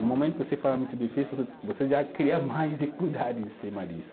No momento que você fala muito difícil, você, você já cria mais dificuldade em cima disso.